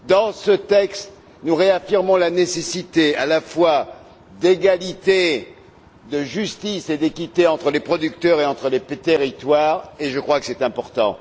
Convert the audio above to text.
Dans ce texte, nous réaffirmons la nécessité à la fois d'égalité, de justice et d'équité entre les producteurs et entre les territoires, et je crois que c'est important.